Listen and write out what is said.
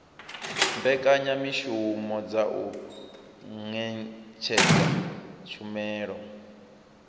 mbekanyamushumo dza u ṅetshedza tshumelo